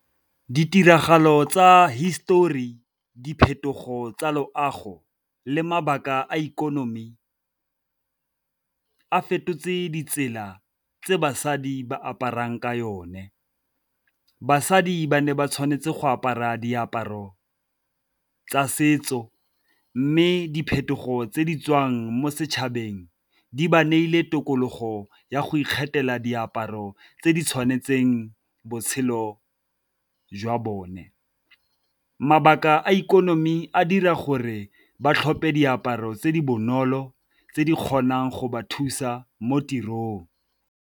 Ditiragalo tsa hisetori, diphetogo tsa loago, le mabaka a ikonomi a fetotse ditsela tse basadi ba aparang ka yone. Basadi ba ne ba tshwanetse go apara diaparo tsa setso mme diphetogo tse di tswang mo setšhabeng di ba neile tokologo ya go ikgethela diaparo tse di tshwanetseng botshelo jwa bone. Mabaka a ikonomi a dira gore ba tlhope diaparo tse di bonolo tse di kgonang go ba thusa mo tirong.